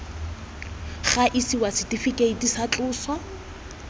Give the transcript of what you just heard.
ga isiwa setifikeiti tsa tloso